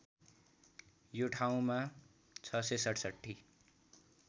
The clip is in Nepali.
यो ठाउँमा ६६७